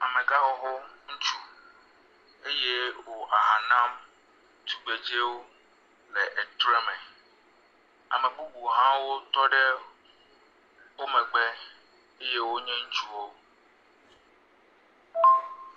Amegãxoxo ŋutsu eye wò aha nam tugbedzewo le etre me. Ame bubu hã wotɔ ɖe wo megbe eye wonye ŋutsuwo.